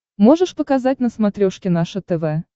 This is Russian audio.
можешь показать на смотрешке наше тв